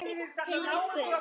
Tilvist Guðs